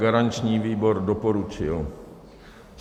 Garanční výbor doporučil.